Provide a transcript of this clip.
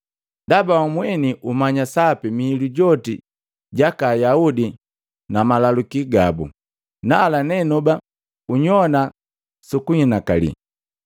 ndaba wamweni umanya sapi miilu joti jaka Ayaudi na malaluki gabu. Nala nenoba unyowana sukunhinakali.